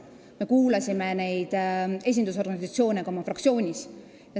Me kuulasime neid esindusorganisatsioone ka oma fraktsioonis.